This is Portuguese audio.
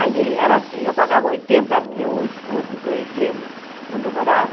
Ali era assim, eu pagava oitenta mil escudos lá em cima, onde eu morava,